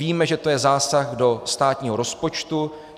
Víme, že to je zásah do státního rozpočtu.